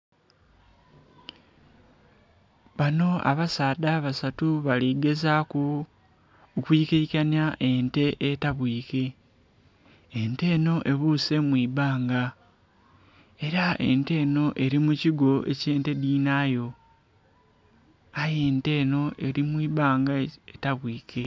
Banho abasaadha abasatu bali gezaku okwi kaikanhya ente etabwike, ente enho ebuse mwibanga era ente enho eri mu kiiko kye'nte dhinhayo aye ente enho eri mwibanga etabwike.